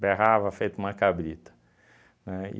berrava feito uma cabrita, né?